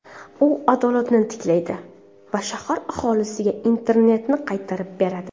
U adolatni tiklaydi va shahar aholisiga Internetni qaytarib beradi.